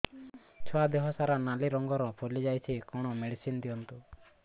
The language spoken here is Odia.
ଛୁଆ ଦେହ ସାରା ନାଲି ରଙ୍ଗର ଫଳି ଯାଇଛି କଣ ମେଡିସିନ ଦିଅନ୍ତୁ